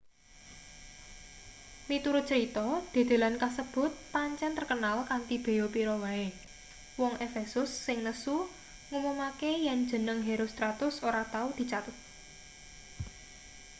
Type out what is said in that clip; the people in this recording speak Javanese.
miturut crita dedelan kasebut pancen terkenal kanthi beya pira wae wong efesus sing nesu ngumumake yen jeneng herostratus ora tau dicathet